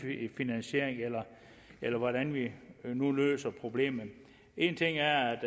finansiering eller hvordan vi nu løser problemet en ting er at